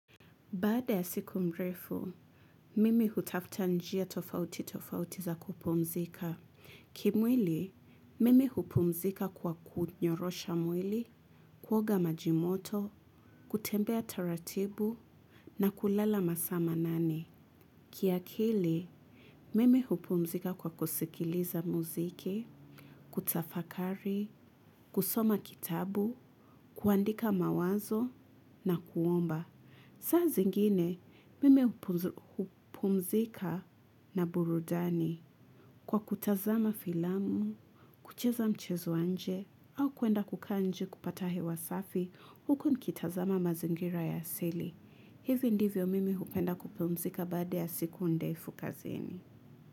Baada ya siku mrefu, mimi hutafuta njia tofauti tofauti za kupumzika. Kimwili, mimi hupumzika kwa kunyorosha mwili, kuoga majimoto, kutembea taratibu, na kulala masaa manane. Kiakili, mimi hupumzika kwa kusikiliza muziki, kutafakari, kusoma kitabu, kuandika mawazo, na kuomba. Saa zingine mimi hupumzika na burudani kwa kutazama filamu, kucheza mchezo wa nje au kuenda kukaa nje kupata hewa safi huku nikitazama mazingira ya asili. Hivi ndivyo mimi hupenda kupumzika baaae ya siku ndefu kazini.